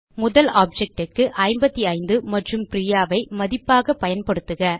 முதல் ஆப்ஜெக்ட் க்கு 55 மற்றும் பிரியா ஐ மதிப்பாக பயன்படுத்துக